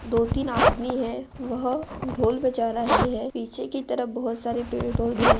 दो तीन आदमी है वह ढ़ोल बजा रहा है पीछे की तरफ बहुत सारे पेड़ पौधे है।